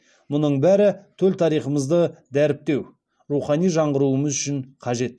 мұның бәрі төл тарихымызды дәріптеу рухани жаңғыруымыз үшін қажет